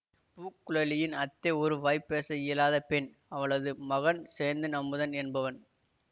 பூங்குழலியின் அத்தை ஒரு வாய்பேச இயலாத பெண் அவளது மகன் சேந்தன் அமுதன் என்பவன்